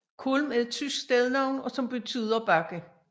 Kulm er et tysk stednavn som betyder bakke